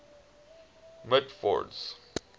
mitford's